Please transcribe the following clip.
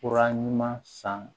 Fura ɲuman san